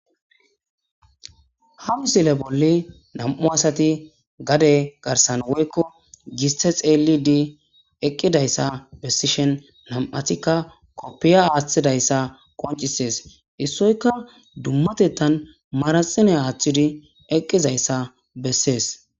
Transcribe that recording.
ha misile bolli nam7u asati gade garsan woykko giste xeeli di eqqidayssa bessishen nam7atikka koppiya aaththidayssa qoncisees issoyka dummatetan maraxine aaththidi eqqizayssa bessees